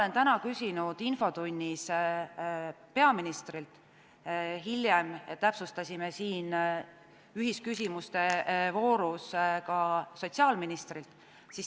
Ma täna küsisin infotunnis peaministrilt ja hiljem täpsustasime siin ühisküsimuste voorus seda ka sotsiaalministrilt.